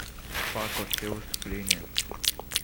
пако все выступления